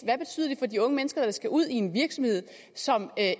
hvad de unge mennesker der skal ud i en virksomhed som